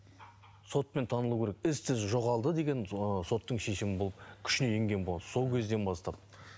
сотпен танылу керек із түзсіз жоғалды деген соттың шешімі бұл күшіне енген сол кезден бастап